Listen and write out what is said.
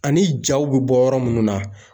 Ani jaw be bɔ yɔrɔ munnu na.